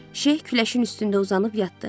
Şeyx küləşin üstündə uzanıb yatdı.